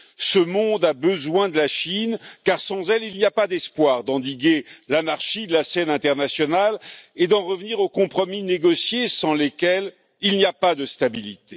Ce monde a besoin de la Chine car, sans elle, il n'y a pas d'espoir d'endiguer l'anarchie de la scène internationale, ni d'en revenir aux compromis négociés sans lesquels il n'y a pas de stabilité.